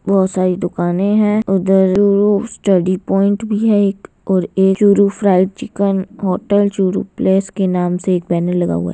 बहुत सारी दुकाने है उधर स्टडी पॉइंट भी है एक और एक Churu fried chicken hotel Churu place के नाम से एक पैनल लगा हुआ है।